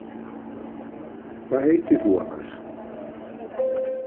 Hvað heitir þú annars?